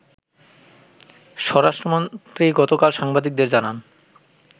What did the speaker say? স্বরাষ্ট্রমন্ত্রী গতকাল সাংবাদিকদের জানান